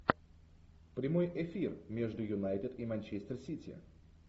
прямой эфир между юнайтед и манчестер сити